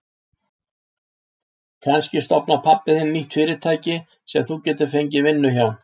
Kannski stofnar pabbi þinn nýtt fyrirtæki sem þú getur fengið vinnu hjá.